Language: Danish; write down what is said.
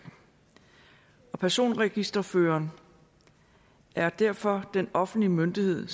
og personregisterføreren er derfor den offentlige myndighed